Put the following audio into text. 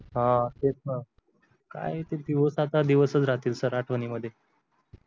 हा तेच ना काय ते दिवस आता दिवसच राहतील सर आठवणींमध्ये